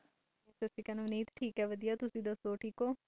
ਅਵਨੀਤ ਠੀਕ ਹੈ ਤੁਸੀ ਦਸੋ ਠੀਕ ਹੋ